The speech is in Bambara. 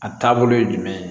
A taabolo ye jumɛn ye